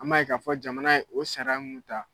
An b'a ye k'a fɔ jamana ye o sariya mun ta.